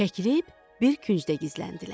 Çəkilib bir küncdə gizləndilər.